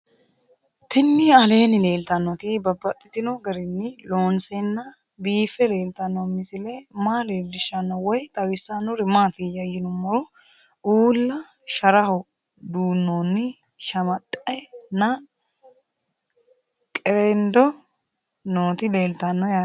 Tinni aleenni leelittannotti babaxxittinno garinni loonseenna biiffe leelittanno misile maa leelishshanno woy xawisannori maattiya yinummoro uulla sharaho duunoonni shamaxxe nna qereqendo nootti leelittanno yaatte